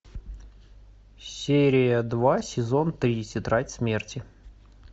серия два сезон три тетрадь смерти